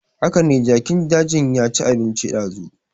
Hakane jakin dajin ya ci abinci dazu